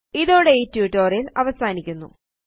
ഇതോടെ ഈ ട്യൂട്ടോറിയൽ അവസാനിക്കുന്നു